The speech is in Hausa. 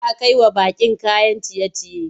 Za a kai wa baƙi kayan ciye-ciye.